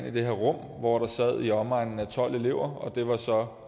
i det her rum hvor der sad i omegnen af tolv elever og det var så